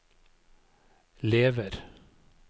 lever